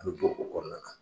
A be don o kɔrɔna na .